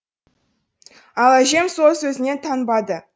ал әжем сол сөзінен танбады